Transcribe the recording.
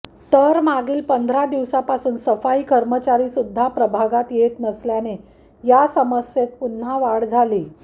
तर मागील पंधरा दिवसापासून सफाई कर्मचारी सुध्दा प्रभागात येत नसल्याने या समस्येत पुन्हा वाढ झाली